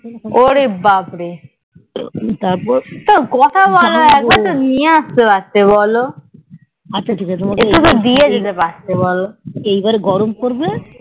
ওরে ব্যাপারে তো কোটা বোলো নিয়ে আস্তে পড়তে তো বোলো একটু তো দিয়ে যেতে পড়তে বোলো